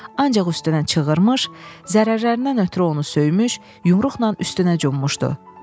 ancaq üstünə çığırmış, zərərlərindən ötrü onu söymüş, yumruqla üstünə cummuşdu.